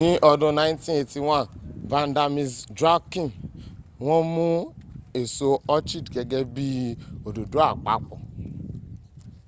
ní ọdún 1981,vanda miss joaquim wọ́n mún èso orchid gẹ́gẹ́ bí i òdòdó àpapọ̀